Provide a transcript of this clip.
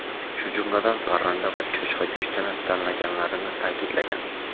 shu jumladan parranda va cho‘chqa go‘shtini tanlaganlarini ta’kidlagan.